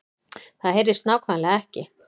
Það HEYRIST NÁKVÆMLEGA EKKI